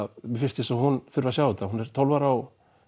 mér finnst eins og hún þurfi að sjá þetta hún er tólf ára og